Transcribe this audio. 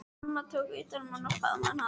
Amma tók utan um hann og faðmaði hann að sér.